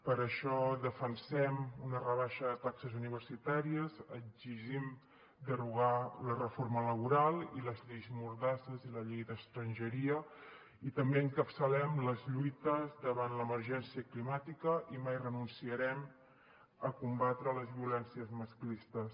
per això defensem una rebaixa de taxes universitàries exigim derogar la reforma laboral i la llei mordassa i la llei d’estrangeria i també encapçalem les lluites davant l’emergència climàtica i mai renunciarem a combatre les violències masclistes